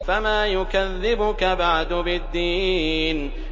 فَمَا يُكَذِّبُكَ بَعْدُ بِالدِّينِ